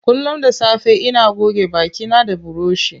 Kullum da safe ina goge baki na da buroshi.